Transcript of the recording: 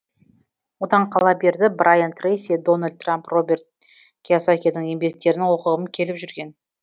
одан қала берді брайан трейси дональд трамп роберт кийосакидің еңбектерін оқығым келіп жүрген